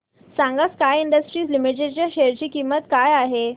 सांगा Sky industries limited च्या share ची किंमत काय आहे